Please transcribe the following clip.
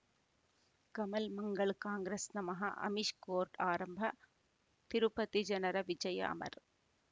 Kamal Mangal Congress ನಮಃ Amish court ಆರಂಭ ತಿರುಪತಿ ಜನರ ವಿಜಯ ಅಮರ್